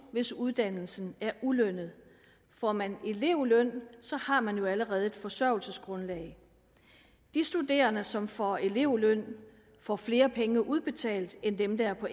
hvis uddannelsen er ulønnet får man elevløn har man jo allerede et forsørgelsesgrundlag de studerende som får elevløn får flere penge udbetalt end dem der er på